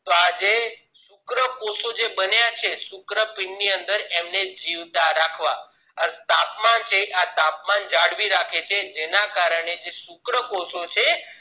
તો આ શુક્રકોષો જે બન્યા છે શુક્રપીંડ ની અંદર જીવતા રાખવા તાપમાન છે આ તાપમાન જાળવી રાખે છે અને જે શુક્ર કોષો છે